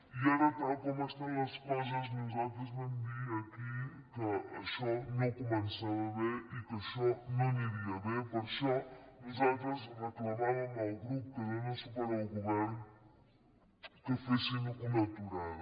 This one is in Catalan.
i ara tal com estan les coses nosaltres vam dir aquí que això no començava bé i que això no aniria bé per això nosaltres reclamàvem al grup que dóna suport al govern que fessin una aturada